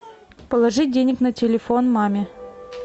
положить денег на телефон маме